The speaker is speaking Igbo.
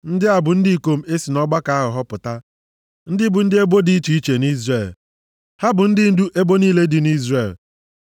Ndị a bụ ndị ikom e si nʼọgbakọ ahụ họpụta, ndị bụ ndị ndu ebo dị iche iche nʼIzrel. Ha bụ ndị ndu ebo niile dị nʼIzrel.